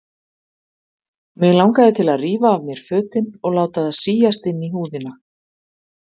Mig langaði til að rífa af mér fötin og láta það síast inn í húðina.